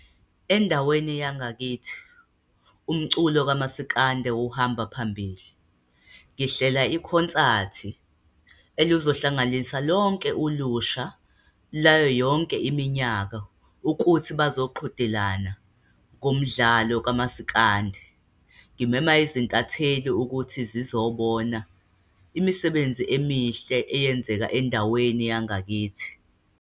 Endaweni yangakithi, umculo kumasikande uhamba phambili. Ngihlela ikhonsathi eluzohlanganisa lonke ulusha, layo yonke iminyaka, ukuthi bazoqhudelana ngomdlalo kamasikandi. Ngimema izintatheli ukuthi zizobona imisebenzi emihle eyenzeka endaweni yangakithi.